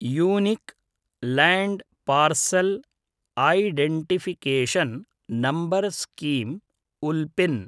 unique land parcel identification number scheme उल्पिन्